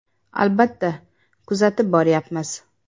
Albatta, kuzatib boryapmiz.